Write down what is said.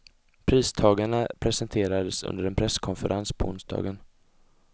Pristagarna presenterades under en presskonferens på onsdagen.